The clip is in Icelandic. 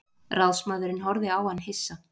Ráðsmaðurinn horfði á hann hissa.